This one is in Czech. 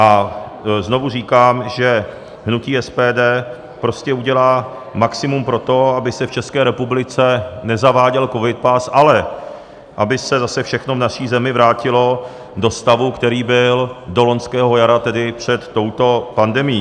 A znovu říkám, že hnutí SPD prostě udělá maximum pro to, aby se v České republice nezaváděl covidpas, ale aby se zase všechno v naší zemi vrátilo do stavu, který byl do loňského jara, tedy před touto pandemií.